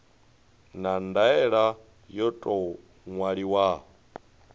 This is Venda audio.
na ndaela yo tou ṅwaliwaho